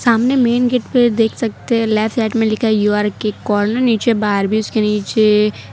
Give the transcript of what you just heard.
सामने main gate पे देख सकते है लेफ्ट लाइट में लिखा है यू आर केक कॉर्नर नीचे बाहर भी उसके नीचे --